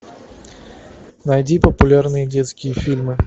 найди популярные детские фильмы